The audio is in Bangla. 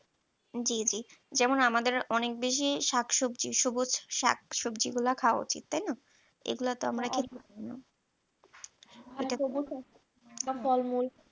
জি জি যেমন আমাদের অনেক বেশি শাকসবজি সবুজ শাকসবজি গুলো খাওয়া উচিত তাই না এগুলো তো আমরা এটাতো বা ফরমাল